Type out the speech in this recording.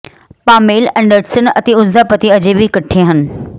Pamela Anderson ਅਤੇ ਉਸ ਦਾ ਪਤੀ ਅਜੇ ਵੀ ਇਕੱਠੇ ਹਨ